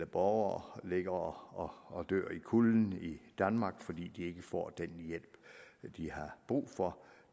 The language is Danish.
borgere ligger og dør i kulden i danmark fordi de ikke får den hjælp de har brug for